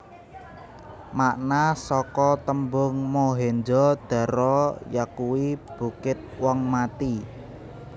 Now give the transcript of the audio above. Makna saka tembung Mohenjo daro yakuwi Bukit wong mati